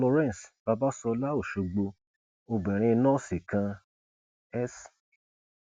florence babasola ọṣọgbó obìnrin nọọsì kan s